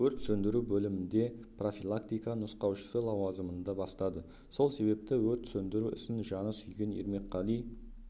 өрт сөндіру бөлімінде профилактика нұсқаушысы лауазымында бастады сол себепті өрт сөндіру ісін жаны сүйген ермекқали